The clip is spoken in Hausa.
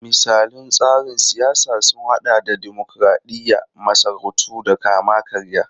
Misalan tsarin siyasa sun hada da dimokuradiyya, masarautu da kama-karya.